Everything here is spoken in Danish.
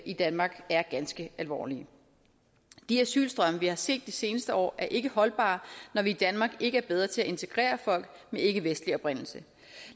i danmark er ganske alvorlige de asylstrømme vi har set de seneste år er ikke holdbare når vi i danmark ikke er bedre til at integrere folk med ikkevestlig oprindelse